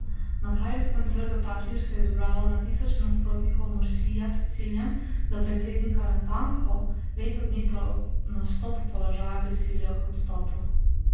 Na kairskem trgu Tahrir se je zbralo na tisoče nasprotnikov Mursija s ciljem, da predsednika natanko leto dni po nastopu položaja prisilijo k odstopu.